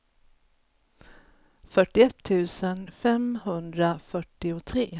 fyrtioett tusen femhundrafyrtiotre